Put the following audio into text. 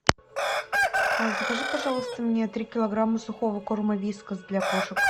закажи пожалуйста мне три килограмма сухого корма вискас для кошек